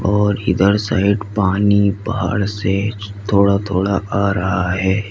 और इधर साइड पानी पहाड़ से थोड़ा थोड़ा आ रहा है।